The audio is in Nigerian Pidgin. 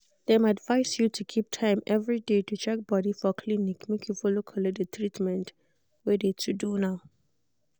dem advised you to keep time every day to check body for clinic make you follow collect de treatment wey de to do now.